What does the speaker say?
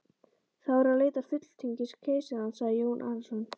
Þá er að leita fulltingis keisarans, sagði Jón Arason.